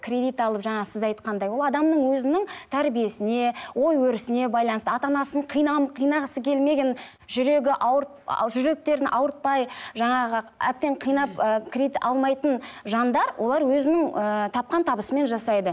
кредит алып жаңа сіз айтқандай ол адамның өзінің тәрбиесіне ой өрісіне байланысты ата анасын қинағысы келмеген жүрегі жүректерін ауыртпай жаңағы әбден кинап ы кредит алмайтын жандар олар өзінің ііі тапқан табысымен жасайды